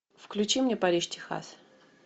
включи мне париж техас